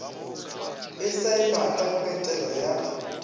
e saenwa ka ketelo ya